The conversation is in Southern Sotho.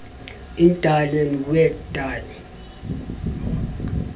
in die land wat die